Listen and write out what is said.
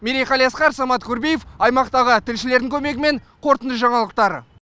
мерей қалиасқар самат курбиев аймақтағы тілшілердің көмегімен қорытынды жаңалықтар